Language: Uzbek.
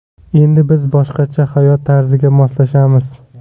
Endi biz boshqacha hayot tarziga moslashamiz.